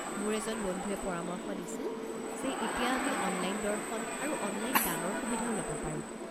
মোৰ এজন বন্ধুৱে পৰামৰ্শ দিছিল যে এতিয়া আমি অনলাইন দৰ্শন আৰু অনলাইন দানৰ সুবিধাও ল'ব পাৰো।